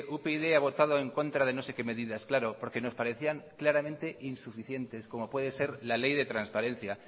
upyd ha votado en contra de no sé qué medidas claro porque nos parecían claramente insuficientes como puede ser la ley de transparencia